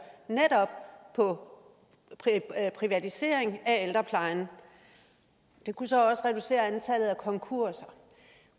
netop på privatisering af ældreplejen det kunne så også reducere antallet af konkurser